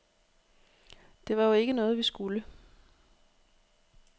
Det var jo ikke noget, vi skulle.